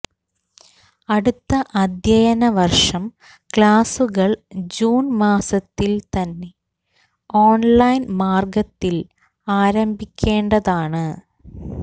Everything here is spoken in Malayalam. അടുത്ത അദ്ധ്യയനവര്ഷം ക്ലാസുകള് ജൂണ് മാസത്തില് തന്നെ ഓണ്ലൈന് മാര്ഗത്തില് ആരംഭിക്കേണ്ടതാണ്